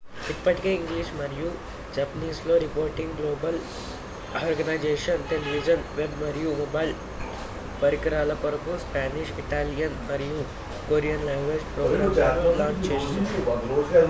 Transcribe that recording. ఇప్పటికే ఇంగ్లిష్ మరియు జపనీస్ లో reporting global organisation television web మరియు మొబైల్ పరికరాల కొరకు స్పానిష్ ఇటాలియన్ మరియు కొరియన్-లాంగ్వేజ్ ప్రోగ్రామ్ లను లాంఛ్ చేస్తోంది